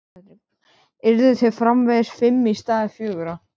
Yrðu þeir framvegis fimm í stað fjögurra?